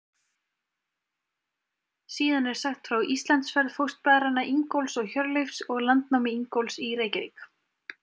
Síðan er sagt frá Íslandsferð fóstbræðranna Ingólfs og Hjörleifs og landnámi Ingólfs í Reykjavík.